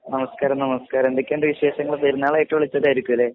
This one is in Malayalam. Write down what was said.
നമസ്കാരം നമസ്കാരം എന്തൊക്കെയുണ്ട് വിശേഷങ്ങൾ പെരുന്നാൾ ആയിട്ട് വിളിച്ചതായിരിക്കും അല്ലെ?